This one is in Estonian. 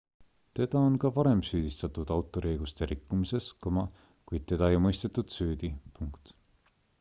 teda on ka varem süüdistatud autoriõiguste rikkumises kuid teda ei mõistetud süüdi